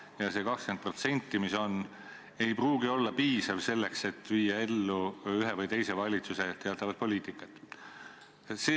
Ja see 20%, mis üle jääb, ei pruugi olla piisav, et viia ellu ühe või teise valitsuse poliitikat.